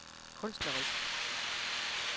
kunstnerisk